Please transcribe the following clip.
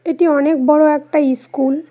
এটি অনেক বড়ো একটা ইস্কুল ।